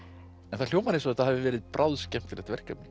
þetta hljómar eins og þetta hafi verið bráðskemmtilegt verkefni